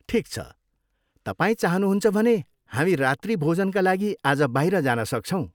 ठिक छ, तपाईँ चाहनुहुन्छ भने, हामी रात्रिभोजनका लागि आज बाहिर जान सक्छौँ।